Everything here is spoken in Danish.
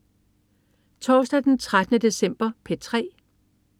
Torsdag den 13. december - P3: